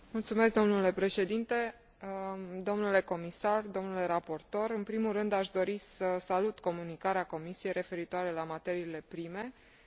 În primul rând, aș dori să salut Comunicarea Comisiei referitoare la materiile prime și propunerea de creare a unei strategii a Uniunii Europene în acest domeniu.